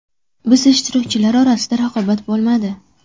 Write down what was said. Biz ishtirokchilar orasida raqobat bo‘lmadi.